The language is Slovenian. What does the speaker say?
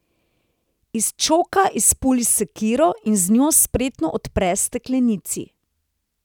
Iz čoka izpuli sekiro in z njo spretno odpre steklenici.